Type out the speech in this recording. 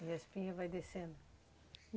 E a espinha vai descendo?